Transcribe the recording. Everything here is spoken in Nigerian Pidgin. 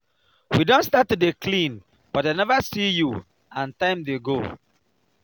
we don start to dey clean but i never see you and time dey go $